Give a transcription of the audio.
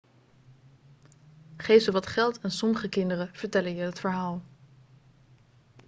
geef ze wat geld en sommige kinderen vertellen je het verhaal